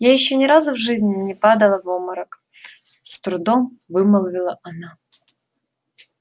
я ещё ни разу в жизни не падала в обморок с трудом вымолвила она